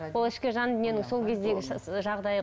ол ішкі жан дүниенің сол кездегі жағдайы